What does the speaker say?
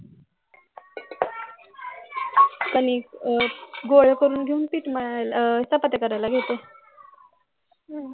कणिक आह गोळे करून घेवून पीठ मळायला आह चपात्या करायला घेतो